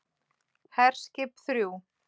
HERSKIP ÞRJÚ